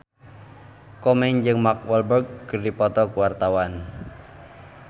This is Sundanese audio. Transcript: Komeng jeung Mark Walberg keur dipoto ku wartawan